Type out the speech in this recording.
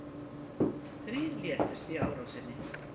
Þrír létust í árásinni